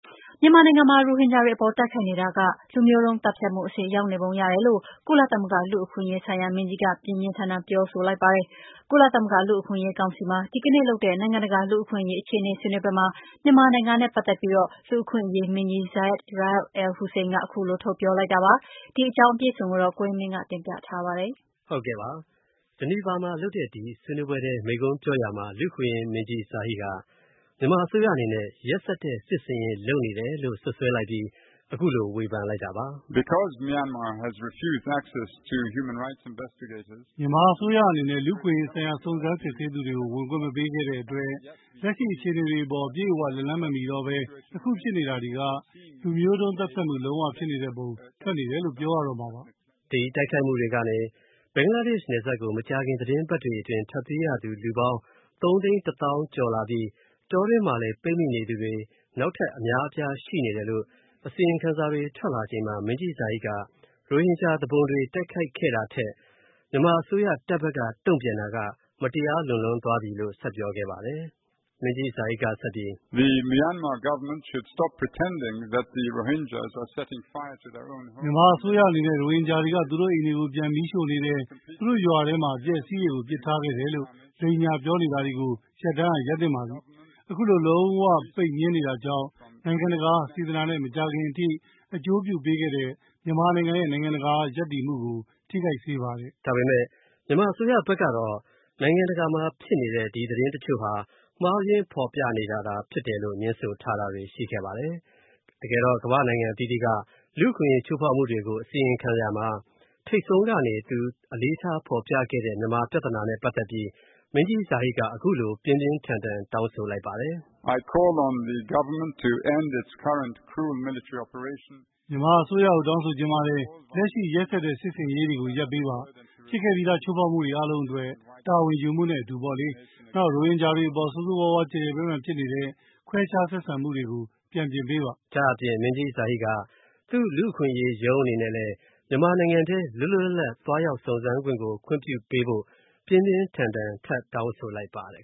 မြန်မာနိုင်ငံမှာ ရိုဟင်ဂျာတွေအပေါ် တိုက်ခိုက်နေတာက လူမျိုးတုံးသတ်ဖြတ်မှု အဆင့် ရောက်နေပုံရတယ်လို့ ကုလသမဂ္ဂ လူ့အခွင့်အရေးဆိုင်ရာမင်းကြီးက ပြင်းပြင်းထန်ထန်ပြောလိုက်ပါတယ်။ ကုလသမဂ္ဂ လူ့အခွင့်အရေး ကောင်စီမှာ ဒီနေ့လုပ်တဲ့ နိုင်ငံတကာလူ့အခွင့်အရေးအခြေအနေ ဆွေးနွေးပွဲမှာ မြန်မာနိုင်ငံနဲ့ ပတ်သက်ပြီး လူ့အခွင့်အရေးမဟာမင်းကြီး Zeid Ra’ad al-Hussein က ခုလို ထုတ်ပြောလိုက်တာပါ။ဒီအကြောင်း ကိုဝင်းမင်းက တင်ပြထားပါတယ်။ Geneva မှာလုပ်တဲ့ ဒီဆွေးနွေးပွဲအတွင်း မိန့်ခွန်းပြောရာမှာ လူ့အခွင့်အရေးမဟာမင်းကြီး Zeid Ra’ad al-Hussein က မြန်မာအစိုးရအနေနဲ့ ရက်စက်တဲ့ စစ်ဆင်ရေးလုပ်နေတယ်လို့ စွပ်စွဲလိုက်ပြီး အခုလိုဝေဖန်လိုက်တာပါ။ “မြန်မာအစိုးရအနေနဲ့ လူ့အခွင့်အရေးဆိုင်ရာ စုံစမ်းစစ်ဆေးသူတွေကို ဝင်ခွင့်မပေးခဲ့တဲ့အတွက် လက်ရှိအခြေအနေတွေအပေါ် အပြည့်အဝ လက်လှမ်းမမီတော့ဘဲ အခုဖြစ်လာနေတာတွေက လူမျိုးတုံးသတ်ဖြတ်မှု လုံးဝ ဖြစ်နေတဲ့ပုံ ထွက်နေတယ်လို့ ပြောရတော့မှာပါ။” ဒီတိုက်ခိုက်မှုတွေကနေ ဘင်္ဂလားဒေ့ရှ်နယ်စပ်ကို ဒီသီတင်းပတ်တွေအတွင်း ထွက်ပြေးရသူပေါင်း ၃ သိန်း ၁ သောင်းကျော်လာပြီး တောတွင်းမှာလည်း ပိတ်မိနေသူတွေလည်း နောက်ထပ်အများအပြားရှိနေတယ်လို့ အစီရင်ခံစာတွေ ထွက်လာချိန်မှာ လူ့အခွင့်အရေးမဟာမင်းကြီး Zeid က ရိုဟင်ဂျာသူပုန်တွေ တိုက်ခိုက်ခဲ့တာထက် မြန်မာအစိုးရ တပ်ဘက်က တုံ့ပြန်တာက မတရားလွန်လွန်းသွားပြီလို့ ဆက်ပြောပါတယ်။ လူ့အခွင့်အရေးမဟာမင်းကြီး Zeid က ဆက်ပြီး- “မြန်မာအစိုးရအနေနဲ့ ရိုဟင်ဂျာတွေက သူတို့အိမ်တွေကို ပြန်မီးရှို့နေတယ်၊ သူတို့ရွာထဲမှာ အပျက်အစီးတွေကို ပစ်ထားခဲ့တယ်လို့ လိမ်ညာပြောနေတာကို ရပ်တန်းကရပ်သင့်ပါပြီ၊ ခုလို လုံးဝ ပိတ်ငြင်းနေတာကြောင့် နိုင်ငံတကာက စေတနာနဲ့ မကြာခင်ကထိ အကျိုးပြုပေးခဲ့တဲ့ မြန်မာနိုင်ငံရဲ့ နိုင်ငံတကာက ရပ်တည်မှုကို ထိခိုက်စေပါတယ်။” ဒါပေမယ့် မြန်မာအစိုးရဘက်ကတော့ နိုင်ငံတကာမှာဖြစ်နေတဲ့ ဒီသတင်းတချို့ဟာ မှားယွင်းဖော်ပြနေတာဖြစ်တယ်လို့ ငြင်းဆိုထားတာတွေရှိခဲ့ပါတယ်။ တကယ်တော့ ကမ္ဘာ့နိုင်ငံအသီးသီးက လူ့အခွင့်အရေးချိုးဖောက်မှုတွေကို အစီရင်ခံရမှာ ထိပ်ဆုံးကနေသူ အလေးထားဖော်ပြခဲ့တဲ့ မြန်မာပြဿနာနဲ့ ပတ်သက်ပြီး လူ့အခွင့်အရေးမဟာမင်းကြီး Zeid က အခုလို ပြင်းပြင်းထန်ထန်တောင်းဆိုလိုက်ပါတယ်။ “မြန်မာအစိုးရကို တောင်းဆိုချင်ပါတယ်။ လက်ရှိ ရက်စက်တဲ့ စစ်ဆင်ရေးတွေကို ရပ်ပေးပါ၊ ဖြစ်ခဲ့ပြီးသား ချိုးဖောက်မှုတွေအားလုံးအတွက် တာဝန်ယူမှုနဲ့ အတူပေါ့လေ၊ နောက် ရိုဟင်ဂျာတွေအပေါ် ဆိုးဆိုးဝါးဝါး ကျယ်ကျယ်ပြန့်ပြန့်ဖြစ်နေတဲ့ ခွဲခြားဆက်ဆံမှုတွေကို ပြန်ပြင်ပေးပါ။” ဒါ့အပြင် လူ့အခွင့်အရေးမဟာမင်းကြီး Zeid က သူ့ လူ့အခွင့်အရေးရုံးအနေနဲ့လည်း မြန်မာနိုင်ငံထဲ လွတ်လွတ်လပ်လပ် သွားရောက်စုံစမ်းခွင့်ကို ခွင့်ပြုပေးဖို့ ပြင်းပြင်းထန်ထန် ထပ်တောင်းဆိုလိုက်ပါတယ်